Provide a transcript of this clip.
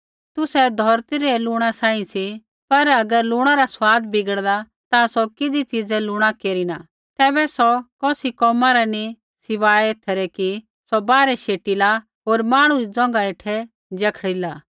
तुसै धौरती रै लूण सांही सी पर अगर लूणा रा स्वाद बिगड़ला ता सौ किज़ी च़ीज़ै लूणा केरिना तैबै सौ कौसी कोमा रा नी सिवाय एथै रै कि सौ बाहरै शेटिला होर मांहणु री ज़ोंघा हेठै जखड़िला